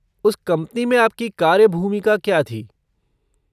उस कंपनी में आपकी कार्य भूमिका क्या थी?